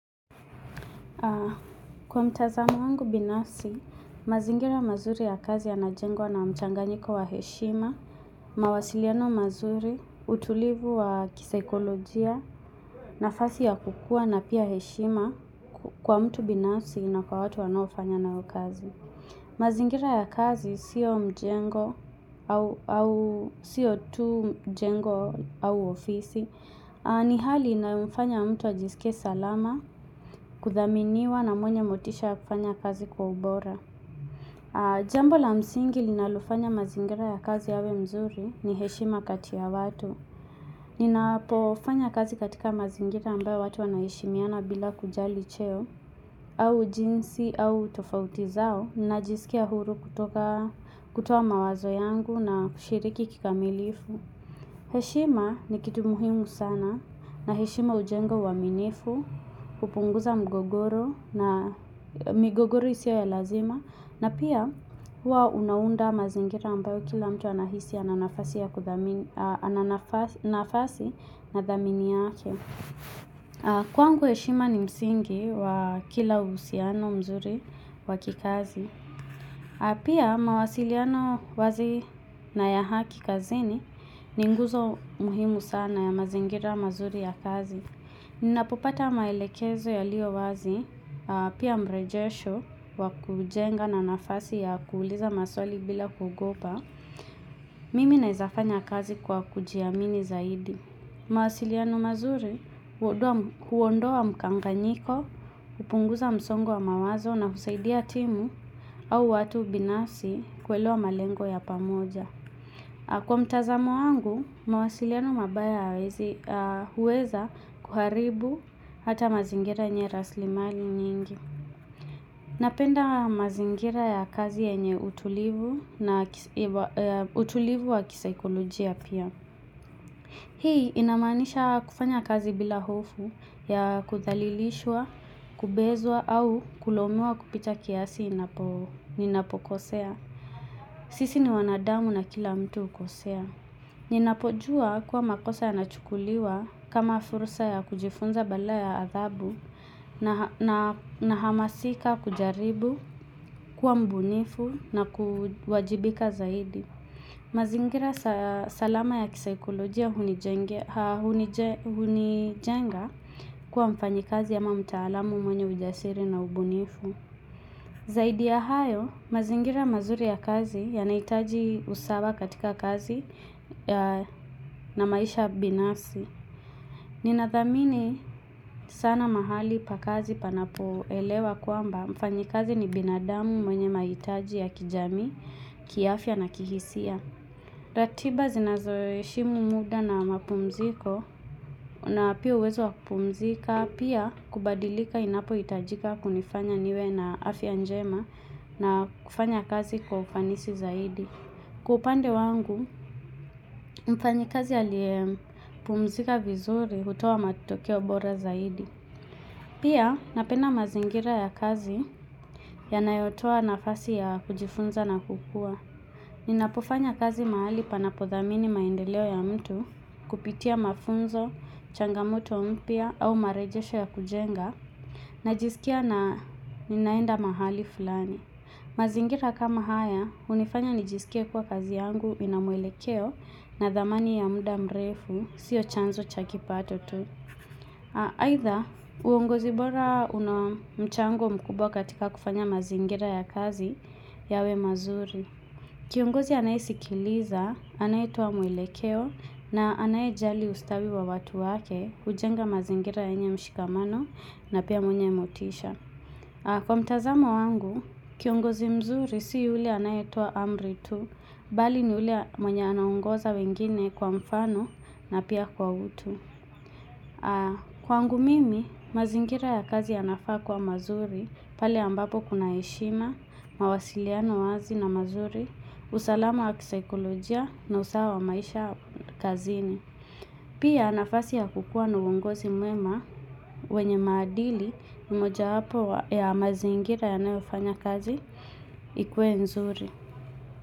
Kwa mtazamo wangu binafsi, mazingira mazuri ya kazi yanajengwa na mchanganyiko wa heshima, mawasiliano mazuri, utulivu wa kisikolojia, nafasi ya kukua na pia heshima kwa mtu binafsi na kwa watu wanaofanya nao kazi. Mazingira ya kazi sio mjengo au au sio tu mjengo au ofisi ni hali inaomfanya mtu ajisikie salama kudhaminiwa na mwenye motisha ya kufanya kazi kwa ubora Jambo la msingi linalofanya mazingira ya kazi yawe mzuri ni heshima kati ya watu Ninapofanya kazi katika mazingira ambayo watu wanaheshimiana bila kujali cheo au jinsi au tofauti zao najisikia huru kutoka kutoka kutoa mawazo yangu na kushiriki kikamilifu heshima ni kitu muhimu sana na heshima hujenga uaminifu, hupunguza mgogoro na migogoro isio ya lazima na pia huwa unaunda mazingira ambayo kila mtu anahisi ana nafasi ya kudhamini ana nafasi na dhamini yake kwangu heshima ni msingi wa kila uhusiano mzuri wa kikazi. Pia mawasiliano wazi na ya haki kazini ni nguzo muhimu sana ya mazingira mazuri ya kazi. Ninapopata maelekezo yaliyo wazi pia mrejesho wa kujenga na nafasi ya kuuliza maswali bila kugopa. Mimi nawezafanya kazi kwa kujiamini zaidi. Mawasiliano mazuri huondoa mkanganyiko, hupunguza msongo wa mawazo na husaidia timu au watu binafsi kuelewa malengo ya pamoja. Kwa mtazamo wangu, mawasiliano mabaya hayawezi huweza kuharibu hata mazingira yenye rasilimali nyingi. Napenda mazingira ya kazi yenye utulivu na utulivu wa kisikolojia pia. Hii inamaanisha kufanya kazi bila hofu ya kuthalilishwa, kubezwa au kulaumiwa kupita kiasi inapo ninapokosea. Sisi ni wanadamu na kila mtu hukosea. Ninapojua kuwa makosa yanachukuliwa kama fursa ya kujifunza badala ya adhabu na nahamasika kujaribu, kuwa mbunifu na kuwajibika zaidi. Mazingira salama ya kisikolojia hunijengea hunijenga kuwa mfanyikazi ama mtaalamu mwenye ujasiri na ubunifu Zaidi ya hayo, mazingira mazuri ya kazi yanahitaji usawa katika kazi na maisha binafsi Ninathamini sana mahali pa kazi panapoelewa kwamba mfanyikazi ni binadamu mwenye mahitaji ya kijamii, kiafya na kihisia ratiba zinazoheshimu muda na mapumziko na pia uwezo wa kupumzika pia kubadilika inapohitajika kunifanya niwe na afya njema na kufanya kazi kwa ufanisi zaidi. Kwa upande wangu, mfanyikazi aliyepumzika vizuri hutoa matokeo bora zaidi. Pia napenda mazingira ya kazi yanayotoa nafasi ya kujifunza na kukua. Ninapofanya kazi mahali panapodhamini maendeleo ya mtu kupitia mafunzo, changamoto mpya au marejesho ya kujenga najisikia na ninaenda mahali fulani. Mazingira kama haya hunifanya nijisikie kuwa kazi yangu ina mwelekeo na dhamani ya muda mrefu sio chanzo cha kipato tu. Aidha uongozi bora una mchango mkubwa katika kufanya mazingira ya kazi yawe mazuri. Kiongozi anayesikiliza anayetoa mwelekeo na anayejali ustawi wa watu wake hujenga mazingira yenye mshikamano na pia mwenye motisha. Kwa mtazamo wangu, kiongozi mzuri si yule anayetoa amri tu bali ni yule mwenye anaongoza wengine kwa mfano na pia kwa utu. Kwangu mimi, mazingira ya kazi yanafaa kuwa mazuri pale ambapo kuna heshima, mawasiliano wazi na mazuri usalama wa kisaikolojia na usawa wa maisha kazini Pia nafasi ya kukuwa na uongozi mwema wenye maadili ni mojawapo wa ya mazingira yanayofanya kazi ikuwe nzuri.